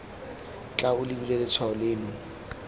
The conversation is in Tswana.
tla o lebile letshwao leno